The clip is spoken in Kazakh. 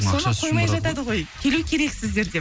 соны қоймай жатады ғой келу керексіздер деп